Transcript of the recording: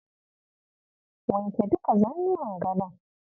Wanke duka zannuwan gadon.